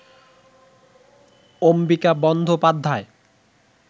Ambika Bandyopadhyay